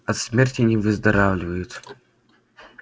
от смерти не выздоравливают